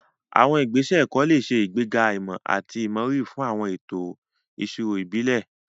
Àwọn ìgbésẹ̀ ẹ̀kọ́ lè ṣe ìgbéga ìmọ̀ àti ìmọrírì fún àwọn ètò ìṣirò ìbílẹ̀.